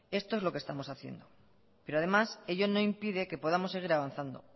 esto es lo que estamos haciendo pero además ello no impide que podamos seguir avanzando